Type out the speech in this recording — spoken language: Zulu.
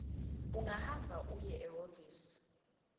ungahamba uye ehhovisi